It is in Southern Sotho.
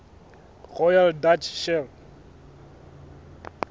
royal dutch shell